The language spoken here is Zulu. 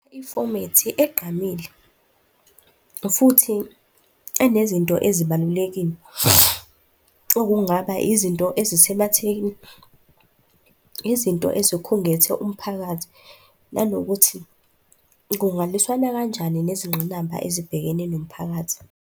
Ifomethi egqamile futhi enezinto ezibalulekile, okungaba izinto ezisematheni, izinto ezikhungethe umphakathi, nanokuthi kungalwisani kanjani nezingqinamba ezibhekene nomphakathi.